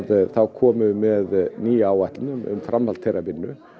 komum við með nýja áætlun um framhald þeirrar vinnu